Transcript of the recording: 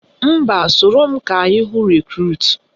Mba, soro m ka anyị hụ Rekrut